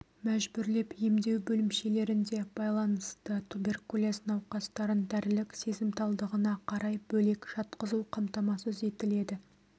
мәжбүрлеп емдеу бөлімшелерінде байланысты туберкулез науқастарын дәрілік сезімталдығына қарай бөлек жатқызу қамтамасыз етіледі